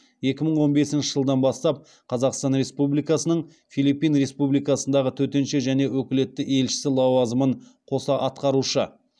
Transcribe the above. екі мың он бесінші жылдан бастап қазақстан республикасының филиппин республикасындағы төтенше және өкілетті елшісі лауазымын қоса атқарушы